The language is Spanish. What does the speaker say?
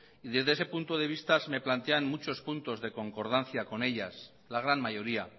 y desde ese punto de vista se me plantean muchos puntos de concordancia con ellas la gran mayoría